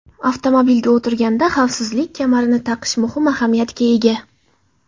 Avtomobilga o‘tirganda xavfsizlik kamarini taqish muhim ahamiyatga ega.